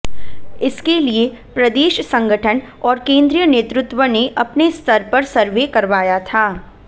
इसके लिए प्रदेश संगठन और केंद्रीय नेतृत्व ने अपने स्तर पर सर्वे करवाया था